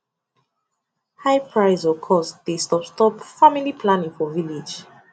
high price or cost dey stop stop family planning for village